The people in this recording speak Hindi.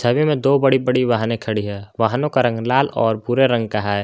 छवि में दो बड़ी बड़ी वाहने खड़ी है वाहनों का रंग लाल और भूरे रंग का है।